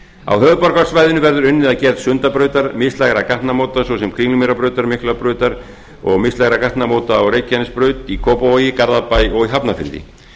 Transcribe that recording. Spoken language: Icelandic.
á höfuðborgarsvæðinu verður unnið að gerð sundabrautar mislægra gatnamóta svo sem kringlumýrarbrautar miklubrautar og mislægra gatnamóta á reykjanesbraut í kópavogi garðabæ og í hafnarfirði